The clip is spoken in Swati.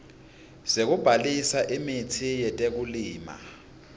sekubhalisa imitsi yetekulima